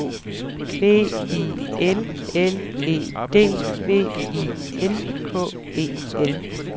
B I L L E D V I N K E L